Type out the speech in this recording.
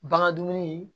Bagan dumuni